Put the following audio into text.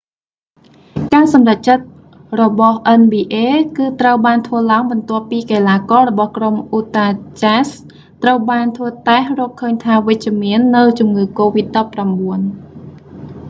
ការសម្រេចចិត្តរបស់ nba គឺត្រូវបានធ្វើឡើងបន្ទាប់ពីកីឡាកររបស់ក្រុម utah jazz ត្រូវបានធ្វើតេស្តរកឃើញថាវិជ្ជមាននូវជំងឺកូវីដ19